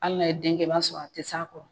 Hali n'a ye den kɛ i b'a sɔrɔ a tɛ s'a kɔrɔ.